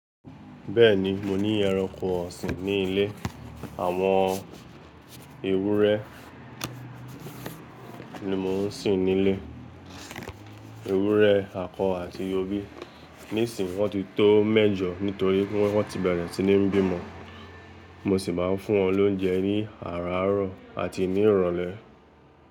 Bẹ́ẹ̀ni, mo ní ẹranko ọ̀sìn ní ilé. Àwọn ewúrẹ́ ni mo ń sìn nílé. Ewúrẹ́ akọ àti obì. Nísìnyí wọ́n ti tó méjọ nítorí wọ́n ti bẹ̀rẹ̀ sí ní bí ọmọ. Mo sì máa ń fún wọn lóúnjẹ ní àràárọ̀ àti ní ìrọ̀lẹ́.